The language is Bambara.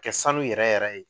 Kɛ sanu yɛrɛ yɛrɛ ye